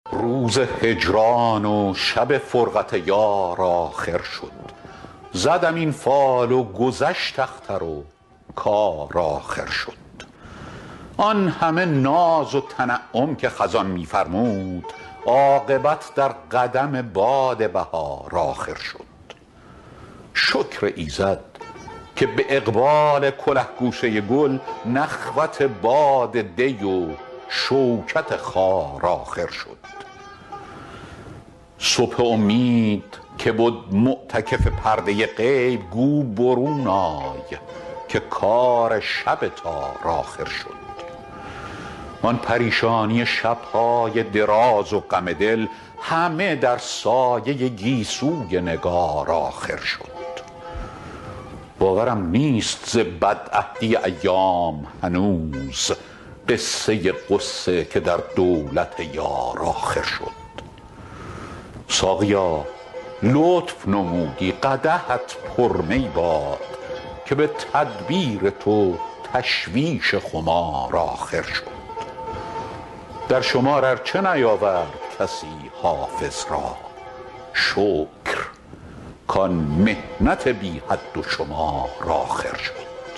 روز هجران و شب فرقت یار آخر شد زدم این فال و گذشت اختر و کار آخر شد آن همه ناز و تنعم که خزان می فرمود عاقبت در قدم باد بهار آخر شد شکر ایزد که به اقبال کله گوشه گل نخوت باد دی و شوکت خار آخر شد صبح امید که بد معتکف پرده غیب گو برون آی که کار شب تار آخر شد آن پریشانی شب های دراز و غم دل همه در سایه گیسوی نگار آخر شد باورم نیست ز بدعهدی ایام هنوز قصه غصه که در دولت یار آخر شد ساقیا لطف نمودی قدحت پر می باد که به تدبیر تو تشویش خمار آخر شد در شمار ار چه نیاورد کسی حافظ را شکر کان محنت بی حد و شمار آخر شد